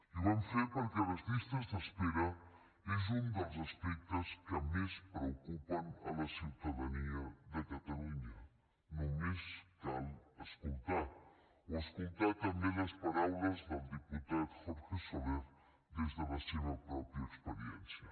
i ho vam fer perquè les llistes d’espera és un dels aspectes que més preocupen la ciutadania de catalunya només cal escoltar la o escoltar també les paraules del diputat jorge soler des de la seva pròpia experiència